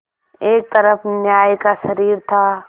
एक तरफ न्याय का शरीर था